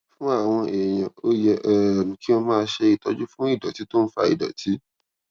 fún àwọn èèyàn ó yẹ um kí wón máa ṣe ìtọjú fún ìdòtí tó ń fa ìdòtí